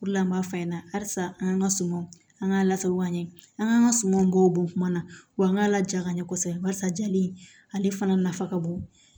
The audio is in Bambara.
O de la an b'a f'i ɲɛna halisa an ga sumanw an ga lasago ka ɲɛ an k'an ka sumanw k'o bɔ kuma na wa an ka lajara ɲɛ kɔsɔbɛ barisa jali in ale fana nafa ka bon